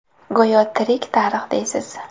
Go‘yo tirik tarix deysiz.